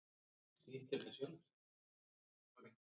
Ítalskir ráðherrar segja af sér